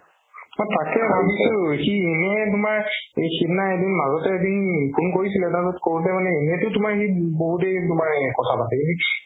মই তাকেই ভাবিছো সি এনে তুমাৰ সিদিনা এদিন মাজতে এদিন phone কৰিছিলে তাৰ পিছত কৌওতে মানে এনেটো সি বহুত দেৰি তুমাৰ কথা পাতে